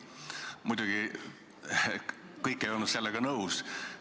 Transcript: Muidugi ei olnud kõik sellega nõus.